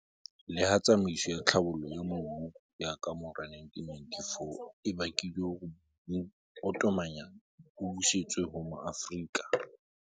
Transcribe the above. Leha tsamaiso ya tlhabollo ya mobu ya kamora 1994 e bakile hore mobu o tomanyana o busetswe ho Maafrika.